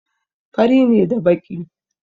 Fari ne da baƙi.